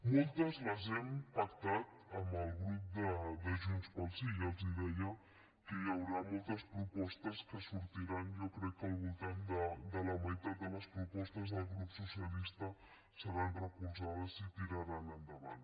moltes les hem pactat amb el grup de junts pel sí ja els deia que hi haurà moltes propostes que sortiran jo crec que al voltant de la meitat de les propostes del grup socialista seran recolzades i tiraran endavant